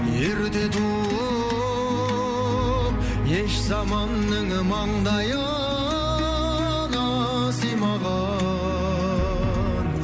ерте туып еш заманның маңдайына сыймаған